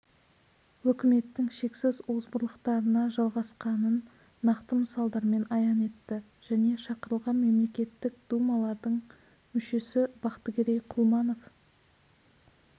өкіметтің шексіз озбырлықтарына жалғасқанын нақты мысалдармен аян етті және шақырылған мемлекеттік думалардың мүшесі бақтыгерей құлманов